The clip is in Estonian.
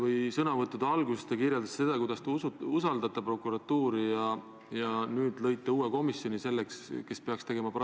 Kui mind süüdistatakse riigireetmises, siis kerkivad ju automaatselt üles õigustatud küsimused riigi julgeolekust, küsimused meie liitlassuhetest.